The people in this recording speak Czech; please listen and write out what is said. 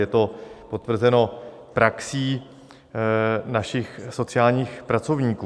Je to potvrzeno praxí našich sociálních pracovníků.